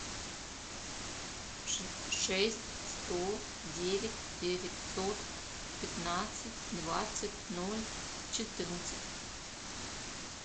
шесть сто девять девятьсот пятнадцать двадцать ноль четырнадцать